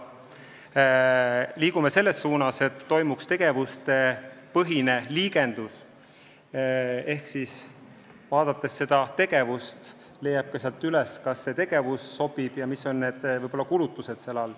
Me liigume selles suunas, et oleks tegevuspõhine liigendus, et vaadates mingit tegevust, te leiate sealt üles, kas see tegevus sobib ja millised on kulutused.